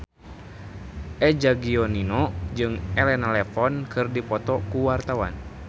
Eza Gionino jeung Elena Levon keur dipoto ku wartawan